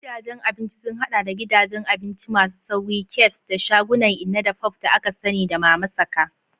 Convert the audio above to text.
Gidajen abinci sun haɗa da gidajen abinci masu sauri, cafes, da shagunan inna-da-pop da aka sani da "mama saka."